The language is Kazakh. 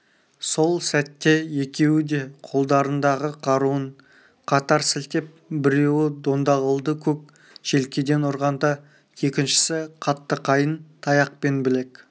сол сәтте екеуі де қолдарындағы қаруын қатар сілтеп біреуі дондағұлды көк желкеден ұрғанда екіншісі қатты қайың таяқпен білек